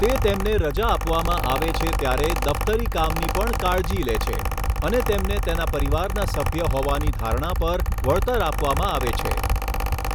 તે તેમને રજા આપવામાં આવે છે ત્યારે દફતરી કામની પણ કાળજી લે છે, અને તેમને તેના પરિવારના સભ્ય હોવાની ધારણા પર વળતર આપવામાં આવે છે.